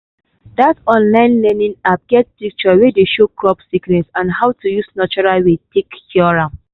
that online learning app get picture wey dey show crop sickness and how to use natural way take cure am.